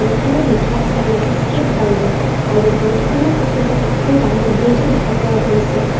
বোৰ্ডখনত লিখা আছে landscape garden আৰু বোৰ্ডখনৰ আশে পাশে এখন ডাঙৰ ব্ৰীজো দেখা পোৱা গৈছে।